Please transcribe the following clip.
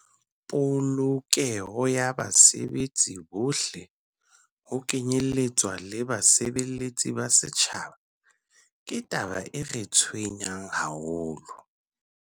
"Polokeho ya basebetsi bohle, ho kenyeletswa le basebeletsi ba setjhaba, ke taba e re tshwenyang haholo."